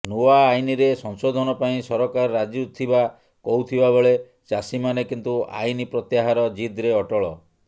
ନୂଆ ଆଇନରେ ସଂଶୋଧନ ପାଇଁ ସରକାର ରାଜିଥିବା କହୁଥିବାବେଳେ ଚାଷୀମାନେ କିନ୍ତୁ ଆଇନ ପ୍ରତ୍ୟାହାର ଜିଦ୍ରେ ଅଟଳ